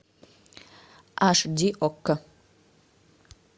аш ди окко